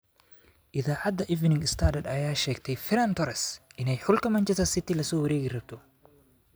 Iidacada Evening Standard, aya sheegtey Ferran Torres inay xulka Manchester City lasowarekirabto.